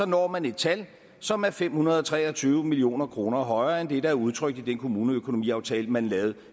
når man et tal som er fem hundrede og tre og tyve million kroner højere end det der er udtrykt i den kommune og økonomiaftale man lavede